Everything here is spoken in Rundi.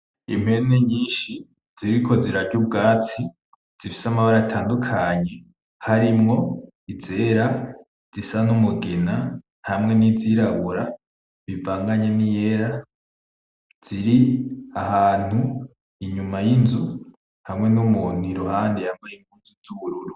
Impene nyinshi ziriko zirarya ubwatsi. Zifise amabara menshi atandukanye harimwo izera zisa n’umugina hamwe n’izirabura bivanganye n’iyera. Ziri ahantu inyuma y’inzu hamwe n’umuntu i ruhande yambaye impuzu z’ubururu.